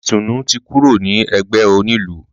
Ìtùnú ti kúrò ní ẹgbẹ́ onílù.